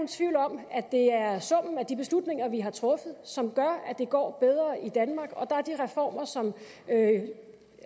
tvivl om at det er summen af de beslutninger vi har truffet som gør at det går bedre i danmark og der er de reformer som